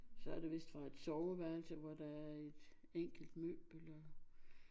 Så er der vist fra et sofaværelse hvor der er et enkelt møbel og